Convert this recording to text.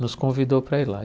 nos convidou para ir lá. E